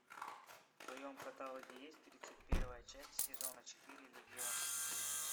в твоем каталоге есть тридцать первая часть сезона четыре легион